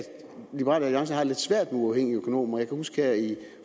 liberal alliance havde det lidt svært med uafhængige økonomer jeg kan huske